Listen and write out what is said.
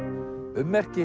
ummerki